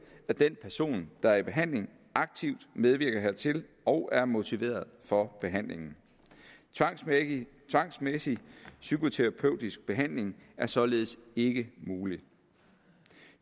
at den person der er i behandling aktivt medvirker hertil og er motiveret for behandlingen tvangsmæssig tvangsmæssig psykoterapeutisk behandling er således ikke mulig